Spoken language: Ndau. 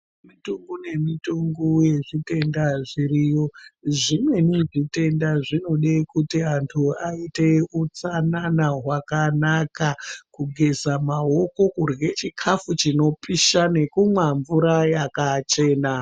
Mitongo nemitongo yezvitenda zviriyo. Zvimweni zvitenda zvinode kuti antu aite utsanana hwakanaka, kugeza mamoko ,kurye chikafu chinopisha nekumwa mvura yakachena.